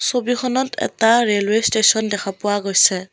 ছবিখনত এটা railway station দেখা পোৱা গৈছে।